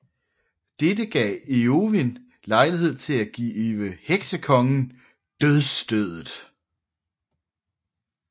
Dette gav Eowyn lejlighed til at give Heksekongen dødsstødet